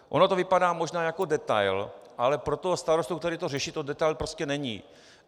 Ono to vypadá možná jako detail, ale pro toho starostu, který to řeší, to detail prostě není.